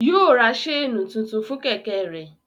Yóò ra ṣéènì tuntun fún Kẹ̀kẹ́ rẹ̀